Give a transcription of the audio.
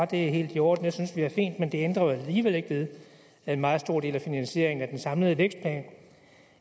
det er helt i orden jeg synes at det er fint men det ændrer jo alligevel ikke ved at en meget stor del af finansieringen af den samlede vækstplan